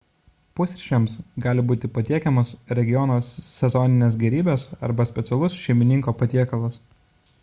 pusryčiams gali būti patiekiamos regiono sezoninės gerybės arba specialus šeimininko patiekalas